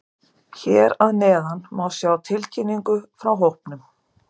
Hér að neðan má sjá tilkynningu frá hópnum.